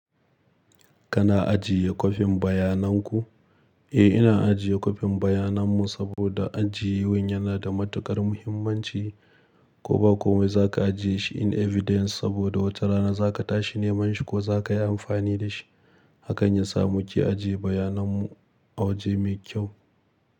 Kana ajiye kwafin bayanan ku? Eh, ina ajiye kwafin bayanan mu saboda ajiye wan yana da matukar muhimmanci. Ko ba komai za ka ajiye shi in evidence saboda wata rana za ka tashi neman shi ko za ka yi amfani da shi. Hakan ya sa mu ke ajiye bayanan mu a waje mai kyau.